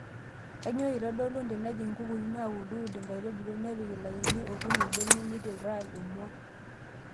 Kainyioo eitodolu tenejing' nkukuni naaudu ud enkaitubului, nepik ilainini okuni mbenek neiturraa emua.